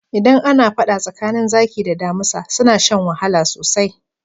Idan ana faɗa tsakanin zaki da damisa suna shan wahala sosai.